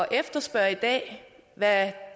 efterspørge i dag hvad